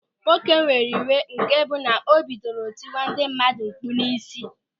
Nwoke were iwe nke bụ na o bidoro tiwe ndị mmadụ mkpụ̀ n'isi.